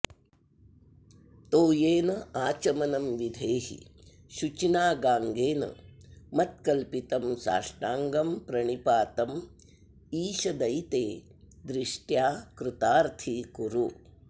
तोयेनाचमनं विधेहि शुचिना गाङ्गेन मत्कल्पितं साष्टाङ्गं प्रणिपातमीशदयिते दृष्ट्या कृतार्थी कुरु